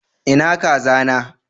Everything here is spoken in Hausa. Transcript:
Ina kaza na?